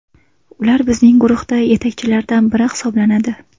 Ular bizning guruhda yetakchilardan biri hisoblanadi.